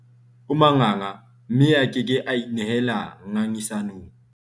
o manganga mme a ke ke a inehela ngangisanong